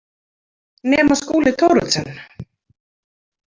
Nema Skúli Thoroddsen.